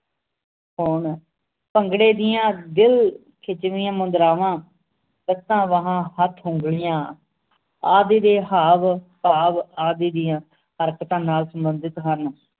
ਹੋਣ ਭੰਗੜੇ ਦੀਆਂ ਦਿਲ ਖਿਜਵੀਆਂ ਮੁਦਰਾਵਾਂ ਲੱਤਾਂ ਬਾਹਾਂ ਹੱਥ ਉਂਗਲੀਆਂ ਆਦਿ ਦੇ ਹਾਵ ਭਾਵ ਆਦਿ ਦੀਆਂ ਹਰਕਤਾਂ ਨਾਲ ਸੰਬੰਧਿਤ ਹਨ